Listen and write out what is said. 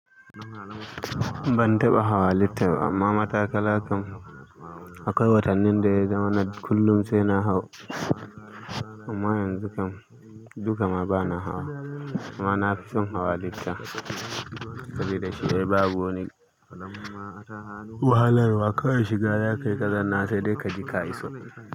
Ban taɓa hawa liftan amma matakalla kam, akwai watannin da ya zama na kullun sai na hau, amma yanzu kam duka ma bana hawa, amma na fi son hawa lifta sabida shi babu wani wahalarwa, kawai shiga za kai ka zanna sai dai ka ji ka iso.